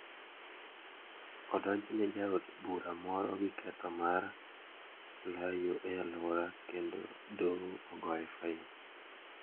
Odonjne jaod bura moro gi ketho mar layo e aluora kendo doho ogoye fain.